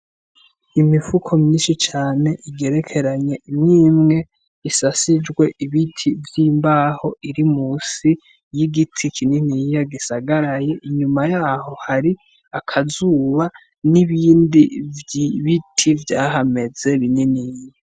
Imifuko myinshi cane igerekeranye imwimwe isasijwe ibiti vy' imbaho iri musi y'igiti kininiya gisagaraye inyuma yaho hari akazuba nibindi vy' ibiti vyahameze bininiya.